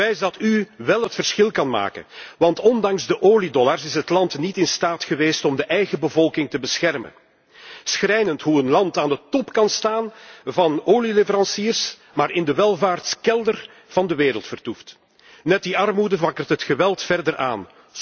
Bewijs dat u wel het verschil kan maken, want ondanks de oliedollars is het land niet in staat geweest om de eigen bevolking te beschermen. Schrijnend hoe een land aan de top kan staan van olieleveranciers, maar in de welvaartskelder van de wereld vertoeft. Net die armoede wakkert het geweld verder aan.